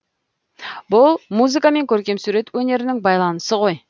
бұл музыка мен көркемсурет өнерінің байланысы ғой